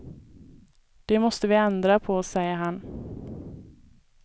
Det måste vi ändra på, säger han.